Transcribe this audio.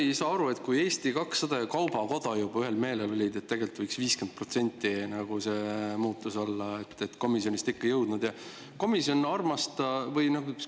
No ma ei saa aru, kui Eesti 200 ja kaubanduskoda juba ühel meelel olid, et tegelikult võiks 50% see muutus olla, miks siis komisjonist see ikka ei jõudnud.